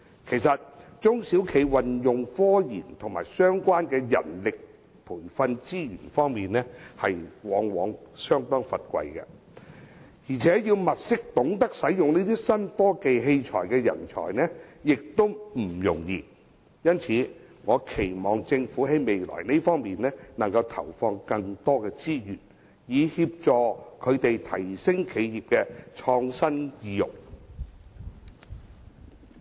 其實，中小企在科研及相關的人力培訓資源方面相當匱乏，要物色懂得使用新科技器材的人才也不容易，因此我期望政府未來投放更多資源，以協助提升企業的創新意欲。